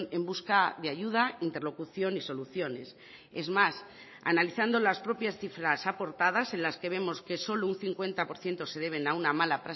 en busca de ayuda interlocución y soluciones es más analizando las propias cifras aportadas en las que vemos que solo un cincuenta por ciento se deben a una mala